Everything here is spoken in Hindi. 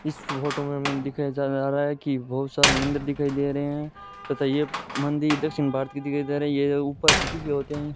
इस फोटो में मैन दिखाया जा-जा रहा है कि बहुत सारे मंदिर दिखाई दे रहे हैं तथा ये मंदिर दक्षिण भारत की दिखाई दे रही है यह ऊपर से तीखे होते हैं।